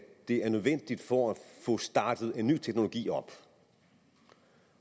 det er nødvendigt for at få startet en ny teknologi op